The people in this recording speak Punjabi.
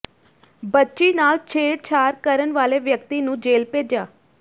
ਬੱਚੀ ਨਾਲ ਛੇੜਛਾੜ ਕਰਨ ਵਾਲੇ ਵਿਅਕਤੀ ਨੂੰ ਜੇਲ੍ਹ ਭੇਜਿਆ